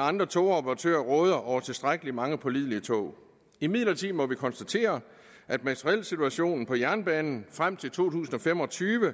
andre togoperatører råder over tilstrækkelig mange pålidelige tog imidlertid må vi konstatere at materielsituationen på jernbanen frem til to tusind og fem og tyve